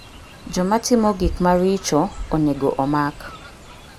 Joma timo gik maricho onego omak.